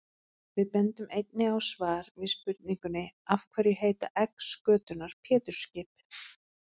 Við bendum einnig á svar við spurningunni Af hverju heita egg skötunnar Pétursskip?